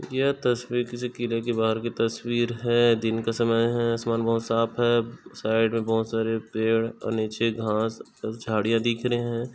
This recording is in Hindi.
यह तस्वीर किसी किले की बाहर की तस्वीर है दिन का समय है आसमान बहुत साफ़ है साइड में बहुत सारे पेड़ और नीचे घास और झाड़िया दिख रहे है।